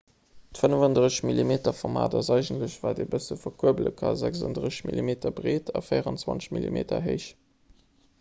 d'35-mm-format ass eigentlech wat een e bësse verkuerbele kann 36 mm breet a 24 mm héich